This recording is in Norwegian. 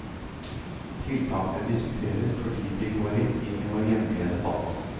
Tiltakene diskuteres fordi de går rett inn i vår hjemlige debatt.